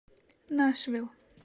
нашвилл